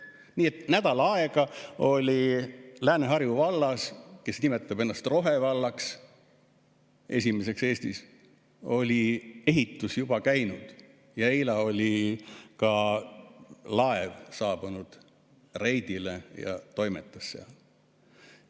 Nii et nädal aega oli Lääne-Harju vallas – kes nimetab ennast rohevallaks, esimeseks Eestis – ehitus juba käinud, eile oli ka laev reidile saabunud ja toimetas seal.